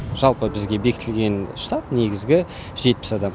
жалпы бізге бекітілген штат негізгі жетпіс адам